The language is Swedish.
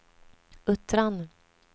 Uttran